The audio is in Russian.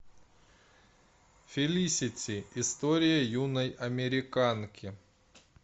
фелисити история юной американки